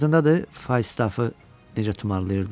Yadındadır Fafı necə tumarlayırdım?